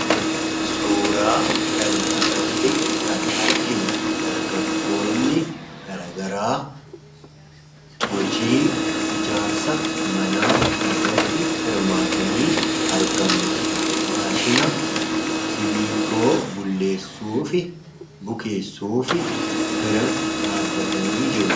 Suuraa kanarratti kan arginu dargaggoonni garaa garaa hojii ijaarsa manaa irratti hirmaatanii argamu. Maashina simmintoo bulleesuufi bukeessuu bira dhaabbatanii jiru.